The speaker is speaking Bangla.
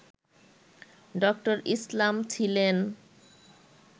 ড: ইসলাম ছিলেন